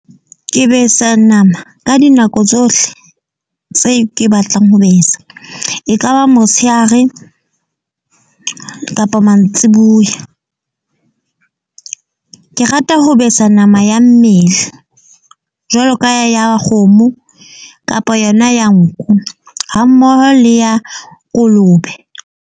Ke besa nama ka dinako tsohle tse ke batlang ho besa. E ka ba motsheare kapa mantsiboya. Ke rata ho besa nama ya mmele, jwalo ka ya kgomo, kapa yona ya nku, ha mmoho le ya kolobe.